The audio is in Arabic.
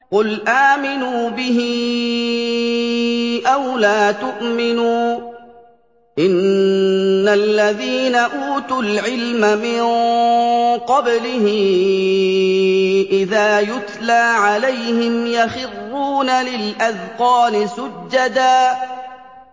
قُلْ آمِنُوا بِهِ أَوْ لَا تُؤْمِنُوا ۚ إِنَّ الَّذِينَ أُوتُوا الْعِلْمَ مِن قَبْلِهِ إِذَا يُتْلَىٰ عَلَيْهِمْ يَخِرُّونَ لِلْأَذْقَانِ سُجَّدًا